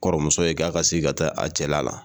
Kɔrɔmuso ye k'a ka sigi ka taa a cɛla la.